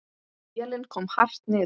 Vélin kom hart niður.